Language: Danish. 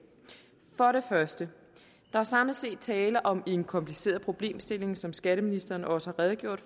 første der er samlet set tale om en kompliceret problemstilling som skatteministeren også har redegjort